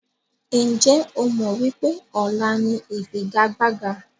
Ǹjẹ́ o mọ wípé ọ̀la ni ifigagbaga?